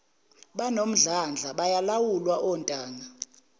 banomdlandla bayalawulwa ontanga